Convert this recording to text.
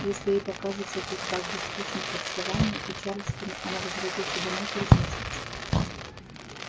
если ей покажется тут так же скучно как в саванне и чарльстоне она возвратится домой через месяц